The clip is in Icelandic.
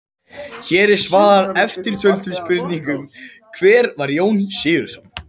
Hér er svarað eftirtöldum spurningum: Hver var Jón Sigurðsson?